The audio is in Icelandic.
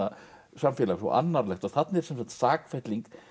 samfélag svo annarlegt og þarna er sem sagt sakfelling